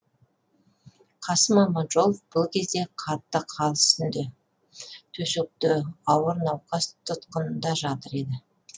қасым аманжолов бұл кезде қатты хал үстінде төсекте ауыр науқас тұтқынында жатыр еді